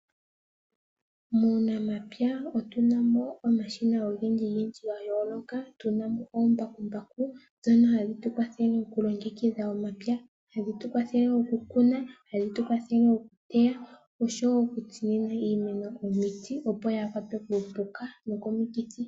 Muunamapya otuna ko omashina ogendji gendji gayooloka. Otuna mo oombakumbaku ndhono hadhi tukwathele okulongekidha omapya, hadhi tu kwathele okukuna, hadhi tu kwathele okuteya osho wo okutsinina iimeno omiti opo yaakwatwe komapuka noko mikithi.